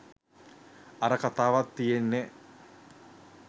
අර කතාවක් තියෙන්නෙ